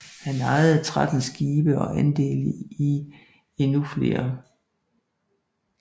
Han ejede 13 skibe og andele i endnu flere